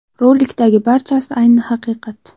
Rolikdagi barchasi – ayni haqiqat.